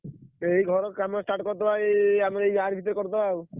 ଏଇ ଘର କାମ start କରିଦବା ଏଇ ଆମ ଏଇ ଆରି ଭିତରେ କରିଦବା ଆଉ ।